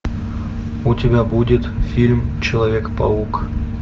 у тебя будет фильм человек паук